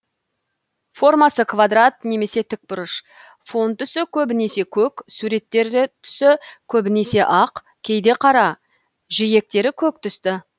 формасы квадрат немесе тікбұрыш фон түсі көбінесе көк суреттер түсі көбінесе ақ кейде қара жиектері көк түсті